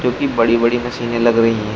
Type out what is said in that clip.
जो कि बड़ी बड़ी मशीनें लग रही हैं --